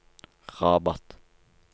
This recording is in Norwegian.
Rabat